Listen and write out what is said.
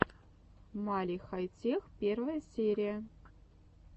мали хай тех первая серия